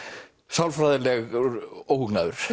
sálfræðilegur óhugnaður